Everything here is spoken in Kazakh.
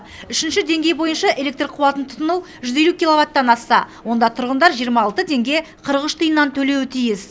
үшінші деңгей бойынша электр қуатын тұтыну жүз елу киловаттан асса онда тұрғындар жиырма алты теңге қырық үш тиыннан төлеуі тиіс